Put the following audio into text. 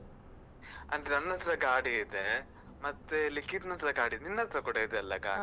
ಅಂದ್ರೆ ನನ್ನತ್ರ ಗಾಡಿ ಇದೆ, ಮತ್ತೆ ಲಿಖಿತ್ ನತ್ರ ಗಾಡಿ ಇದೆ, ನಿನ್ನತ್ರ ಕೂಡ ಇದೆ ಅಲ್ಲ ಗಾಡಿ?